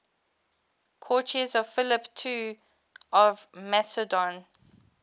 courtiers of philip ii of macedon